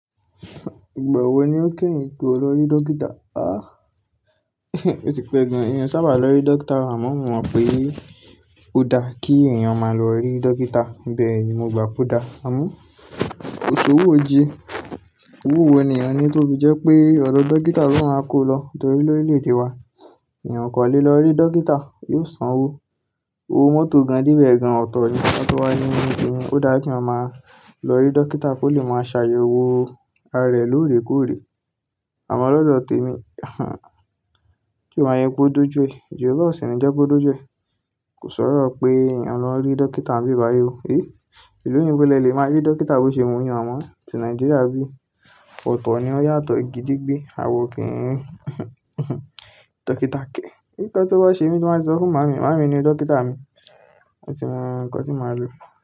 Ìgbà wo ni ó kẹ́yìn tó lọ rí dókítà? Ah, oti pé gan-an èmi o sábà lọ rí dókítà. Àmọ́ mo mọ̀ pé ó dá kí èèyàn máa lọ rí dókítà. Bẹ́ẹ̀ ni, mo gbà pó dá. Àmọ́, kòṣowọ̀ jí. Owó wo ni èèyàn ní tó fi jẹ́ pé ọ̀dọ̀ dókítà ló máa kó lọ. Torí lọ́rílẹ̀ èdè wa, èèyàn o kan le lọ rí dókítà, yóò sanwó. Owó mọ́tò gan-an debẹ̀ gan-an ọ̀tọ̀ ni. Ka tó wà ní kini, ó dá kí èèyàn máa lọ rí dókítà kó lè máa ṣàyẹ̀wò ara rẹ̀ lóòrèkóòrè. Àmọ́ lọ́dọ̀ tèmi, tí ó bá ṣe wípé o doju è.ojo wuro ọ̀sìn ni jẹ́ ko doju è. Kò sọ̀rọ̀ pé a n lọ rí dókítà níbibayi o. Hẹ́! Ìlú òyìnbó lẹ lè máa rí dókítà bó ṣe wu yin àmọ́, tí Nàìjíríà bí. Ọ̀tọ̀ ni ó yàtọ̀, gede gbé, àwọ̀ o kì í rí. Dókítà ke. Ǹkan tó bá ṣe mi, ti n ba ti sọ fún màámi. Màámi ni dókítà mi. Ó ti mọ nǹkan tí màá lò.